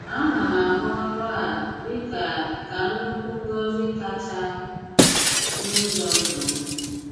A ná m ahụ̀ ọrụ a dị kà ka nnukwu ngọ́zi kacha n’ụzọ̀ ndụ m.